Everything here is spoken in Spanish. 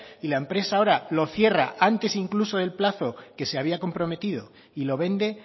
y la empresa ahora lo cierra antes incluso del plazo que se había comprometido y lo vende